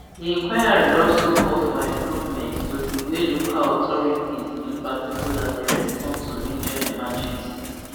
di inquiry also call for improvements to di way local authorities rbkc in particular dey respond to major emergencies